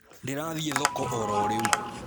Ndĩrathiĩ thoko ororĩu